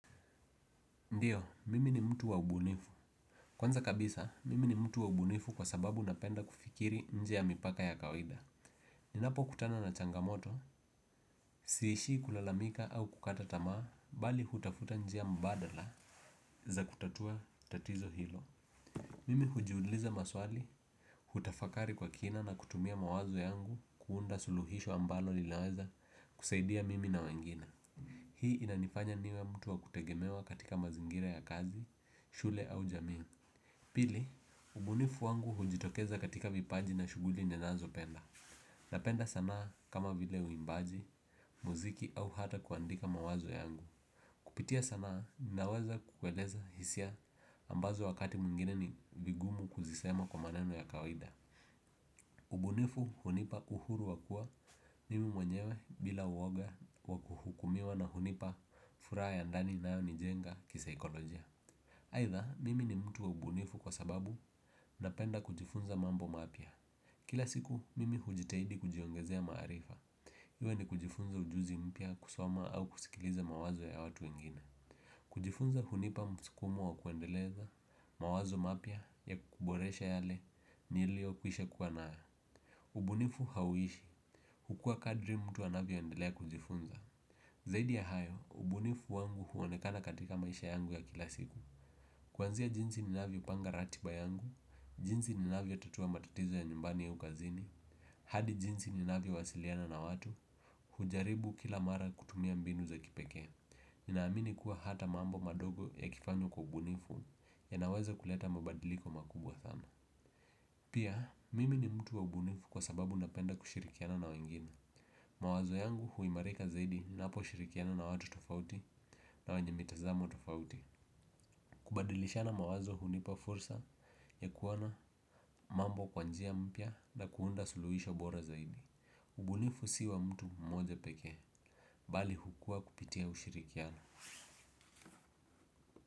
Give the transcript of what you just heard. Ndio, mimi ni mtu wa ubunifu. Kwanza kabisa, mimi ni mtu wa ubunifu kwa sababu napenda kufikiri nje ya mipaka ya kawida. Ninapo kutana na changamoto, siishii kulalamika au kukata tamaa, bali hutafuta njia mbadala za kutatua tatizo hilo. Mimi hujiuliza maswali, hutafakari kwa kina na kutumia mawazo yangu kuunda suluhisho ambalo linaweza kusaidia mimi na wengine. Hii inanifanya niwe mtu wa kutegemewa katika mazingira ya kazi nshule au jamii. Pili, ubunifu wangu hujitokeza katika vipaji na shughuli ninazo penda. Napenda sanaa kama vile uimbaji, muziki au hata kuandika mawazo yangu. Kupitia sanaa, ninaweza kueleza hisia ambazo wakati mwingine ni vigumu kuzisema kwa maneno ya kawida. Ubunifu hunipa uhuru wakua mimi mwenyewe bila uwoga wakuhukumiwa na hunipa furaha ya ndani inayo ni jenga kisaikolojia aidha mimi ni mtu wa ubunifu kwa sababu napenda kujifunza mambo mapya. Kila siku mimi hujitahidi kujiongezea maarifa. Iwa ni kujifunza ujuzi mpya kusoma au kusikiliza mawazo ya watu wengine. Kujifunza hunipa msukumo wa kuendeleza mawazo mapya ya kuboresha yale niliyo kwisha kuwa nayo. Ubunifu hauishi, hukua kadri mtu anavyo endelea kujifunza. Zaidi ya hayo, ubunifu wangu huonekana katika maisha yangu ya kila siku. Kuanzia jinsi ninavyopanga ratiba yangu, jinsi ni navyo tatua matatizo ya nyumbani au kazini hadi jinsi ni navyo wasiliana na watu, hujaribu kila mara kutumia mbinu za kipekee. Ninaamini kuwa hata mambo madogo ya kifanywa kwa ubunifu yanaweza kuleta mabadiliko makubwa sana. Pia, mimi ni mtu wa ubunifu kwa sababu napenda kushirikiana na wengine. Mawazo yangu huimarika zaidi napo shirikiana na watu tofauti na wenye mitazamo tofauti. Kubadilishana mawazo hunipa fursa ya kuona mambo kwa njia mpya na kuunda suluhisho bora zaidi ubunifu si wa mtu mmoja pekee. Bali hukua kupitia ushirikiano.